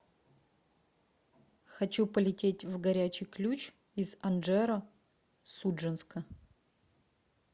хочу полететь в горячий ключ из анжеро судженска